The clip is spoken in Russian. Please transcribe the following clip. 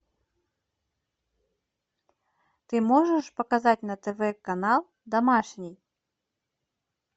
ты можешь показать на тв канал домашний